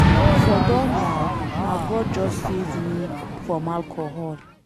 I for don die, na God just save me from alcohol.